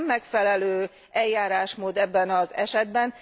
Ez nem megfelelő eljárásmód ebben az esetben.